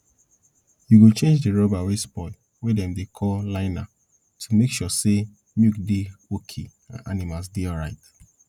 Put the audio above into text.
y go change di rubber wey spoil wey dem dey call liner to make sure say milk work dey okay and animals dey alright